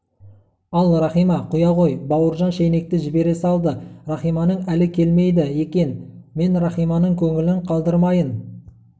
ал рахима құя ғой бауыржан шайнекті жібере салды рахиманың әлі келмейді екен мен рахиманың көңілін қалдырмайын